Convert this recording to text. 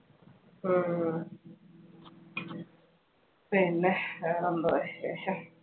ഹും പിന്നെ വേറെ എന്തുവാ വിശേഷം?